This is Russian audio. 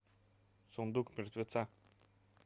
сундук мертвеца